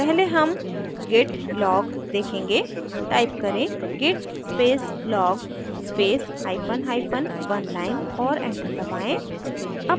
पहले हम git log देखेंगे टाइप करें git space log space hyphen hyphen oneline और enter दबाएँ